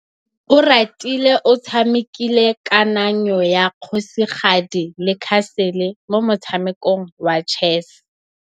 Oratile o tshamekile kananyô ya kgosigadi le khasêlê mo motshamekong wa chess.